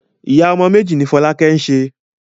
Ìyá ọmọ méjì ni Fọlákẹ́ ń ṣe.